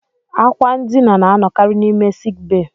Àkwà ndina na-anọkarị n'ime sik bee